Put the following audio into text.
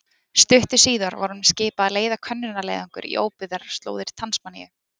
Stuttu síðar var honum skipað að leiða könnunarleiðangur á óbyggðar slóðir Tasmaníu.